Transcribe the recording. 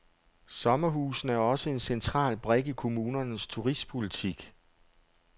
Sommerhusene er også en central brik i kommunernes turistpolitik.